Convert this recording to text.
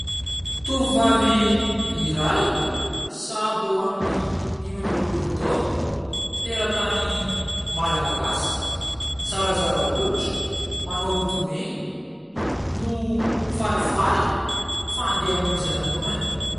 Tovovavy iray sahabo amin'ny dimy amby roapolo taona, teratany malagasy, zarazara hoditra, manao lokomena no falifaly fa andeha hamonjy lanonana.